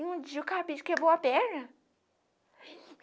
E um dia o cabide quebrou a perna.